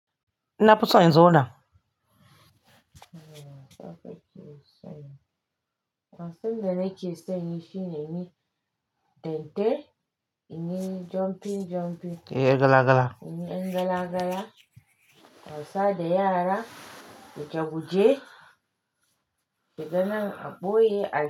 Na fi son in zauna Wasu maza ke sa yin shi ne yin dente, yin jumping jumping Eh gala gala yin gala gala, wasa da yara, shekabuje, shiga nan a ɓoye a yi.